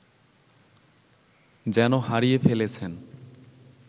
যেন হারিয়ে ফেলেছেন